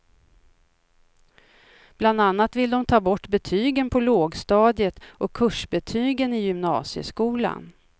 Bland annat vill de ta bort betygen på lågstadiet och kursbetygen i gymnasieskolan.